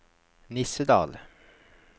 Nissedal